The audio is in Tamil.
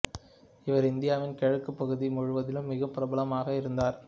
இவர் இந்தியாவின் கிழக்குப் பகுதி முழுவதிலும் மிகவும் பிரபலமாக இருந்தார்